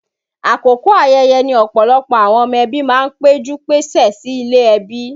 Àkókò ayẹyẹ ní ọ̀pọ̀lọpọ̀ àwọn ọmọ ẹbí máa ń pẹ́jú-péṣẹ̀ sí ilé ẹbí